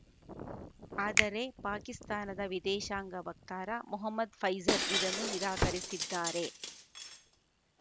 ಆದರೆ ಪಾಕಿಸ್ತಾನದ ವಿದೇಶಾಂಗ ವಕ್ತಾರ ಮೊಹಮ್ಮದ್‌ ಫೈಜಲ್‌ ಇದನ್ನು ನಿರಾಕರಿಸಿದ್ದಾರೆ